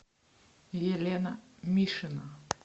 елена мишина